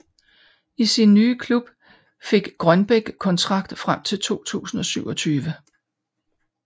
I sin nye klub fik Grønbæk kontrakt frem til 2027